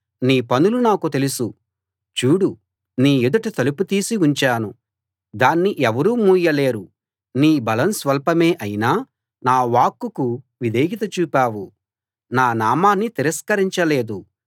నీ పనులు నాకు తెలుసు చూడు నీ ఎదుట తలుపు తీసి ఉంచాను దాన్ని ఎవరూ మూయలేరు నీ బలం స్వల్పమే అయినా నా వాక్కుకు విధేయత చూపావు నా నామాన్ని తిరస్కరించలేదు